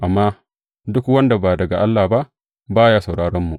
Amma duk wanda ba daga Allah ba, ba ya sauraronmu.